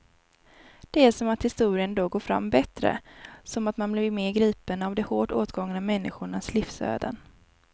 Det är som att historien då går fram bättre, som att man blir mer gripen av de hårt åtgångna människornas livsöden.